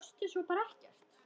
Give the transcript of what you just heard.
Sástu svo bara ekkert?